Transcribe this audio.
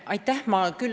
Aitäh!